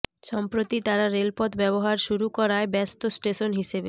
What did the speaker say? সম্প্রতি তারা রেলপথ ব্যবহার শুরু করায় ব্যস্ত স্টেশন হিসেবে